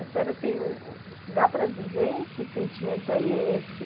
A senhora tem o... dá para dizer que sentimento é esse?